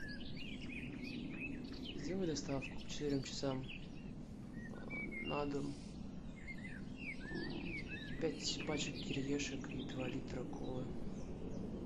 сделай доставку к четырем часам на дом пять пачек кириешек и два литра колы